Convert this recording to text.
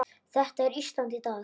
Þetta er Ísland í dag.